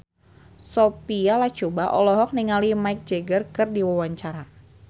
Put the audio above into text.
Sophia Latjuba olohok ningali Mick Jagger keur diwawancara